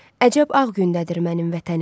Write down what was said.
Əcəb ağ gündədir mənim vətənim.